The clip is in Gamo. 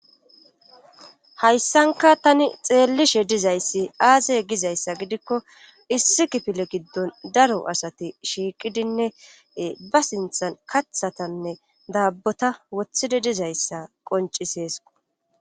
hayssanka tani xeellishe dizayssi aazey gizayssa gidikko issi kifile giddon daro asati shiiqidinne ba sinthan kathatanne daabbota wothide dizayssa qonciseesqo